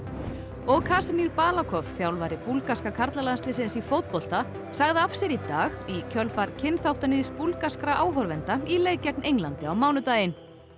og Krasimir Balakov þjálfari búlgarska karlalandsliðsins í fótbolta sagði af sér í dag í kjölfar kynþáttaníðs búlgarskra áhorfenda í leik gegn Englandi á mánudaginn